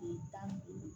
Tile tan ni duuru